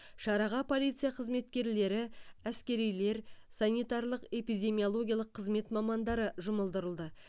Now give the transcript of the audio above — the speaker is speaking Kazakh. шараға полиция қызметкерлері әскерилер санитарлық эпидемиологиялық қызмет мамандары жұмылдырылды